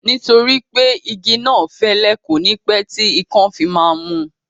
Nítorí pé igi náà fẹ́lẹ́, kò ní pẹ́ tí ikán fi máa mú